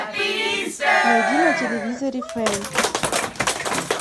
найди на телевизоре фэн